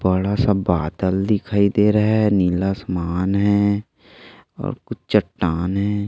बड़ा सा बादल दिखाई दे रहा है नीला आसमान है और कुछ चट्टान है।